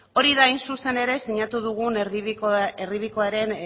hori da hain zuzen ere sinatu dugun erdibidekoaren